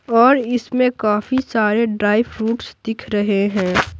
और इसमें काफी सारे ड्राई फ्रूट्स दिख रहे हैं।